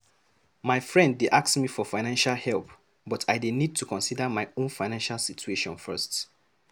My friend dey ask me for financial help, but I dey need to consider my own financial situation first.